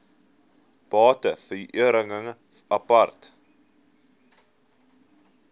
bate verhuring apart